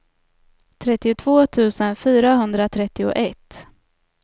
trettiotvå tusen fyrahundratrettioett